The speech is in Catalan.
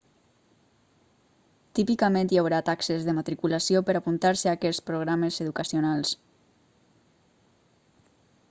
típicament hi haurà taxes de matriculació per a apuntar-se a aquests programes educacionals